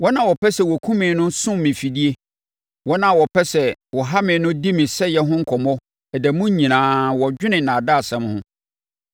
Wɔn a wɔpɛ sɛ wɔkum me no sum me mfidie, wɔn a wɔpɛ sɛ wɔha me no di me sɛeɛ ho nkɔmmɔ. Ɛda mu nyinaa wɔdwene nnaadaasɛm ho.